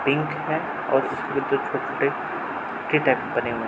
Pink है और उसके दो छोटे टाइप बने हुए हैं।